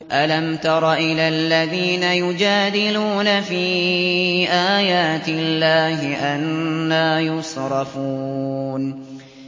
أَلَمْ تَرَ إِلَى الَّذِينَ يُجَادِلُونَ فِي آيَاتِ اللَّهِ أَنَّىٰ يُصْرَفُونَ